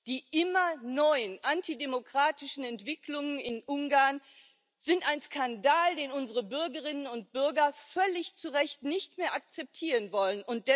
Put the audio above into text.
Die immer neuen antidemokratischen Entwicklungen in Ungarn sind ein Skandal, den unsere Bürgerinnen und Bürger völlig zu Recht nicht mehr akzeptieren wollen.